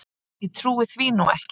Ég trúi því nú ekki.